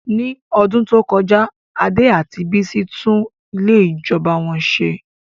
Ní ọdún tó kọjá, Ade àti Bisi tún ilé ìjọba wọn ṣe.